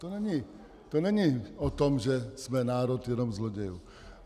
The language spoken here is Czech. To není o tom, že jsme národ jenom zlodějů.